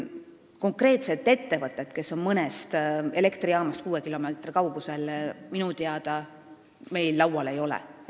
Konkreetset ettevõtet, kes on mõnest elektrijaamast kuue kilomeetri kaugusel, minu teada meil laual ei ole.